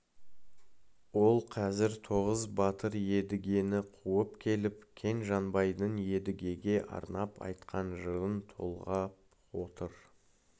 ол қазір тоғыз батыр едігені қуып келіп кен-жанбайдың едігеге арнап айтқан жырын толғап отыр